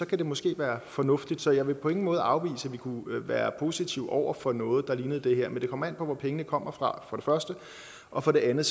det måske være fornuftigt så jeg vil på ingen måde afvise at vi kunne være positive over for noget der ligner det her men det kommer an på hvor pengene kommer fra og for det andet